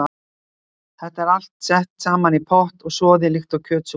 Þetta er allt sett saman í pott og soðið líkt og kjötsúpan hennar ömmu.